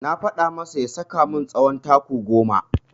Na faɗa masa ya saka min tsawon taku goma.